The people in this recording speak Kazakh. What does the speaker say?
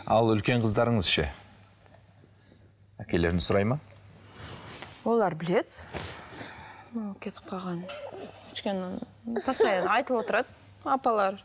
ал үлкен қыздарыңыз ше әкелерін сұрайды ма олар біледі оның кетіп қалғанын өйткені постоянно айтылып отырады апалары